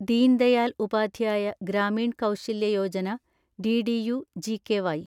Deen Dayal Upadhyaya Grameen Kaushalya Yojana (ഡിഡിയു-ജികെവൈ)